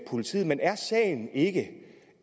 politiet men er sagen ikke